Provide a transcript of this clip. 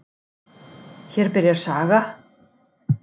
Hér byrjar saga.